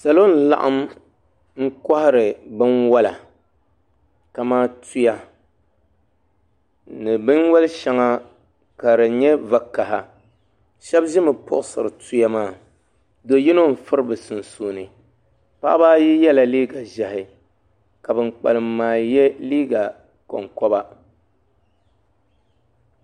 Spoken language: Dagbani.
Salɔ n laɣim m kohari bin wala kamaa tuya ni bin wali shɛŋa ka di nyɛ vakaha shɛbi zimi puɣisiri tuya maa do yi no n firi bɛ sunsuuni paɣa baa ayi yɛla liiga ʒɛhi ka bi kpalim maa yɛ liiga kon koba